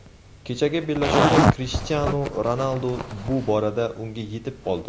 Kechagi bellashuvda Krishtianu Ronaldu bu borada unga yetib oldi.